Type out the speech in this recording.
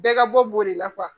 Bɛɛ ka bɔ b'o de la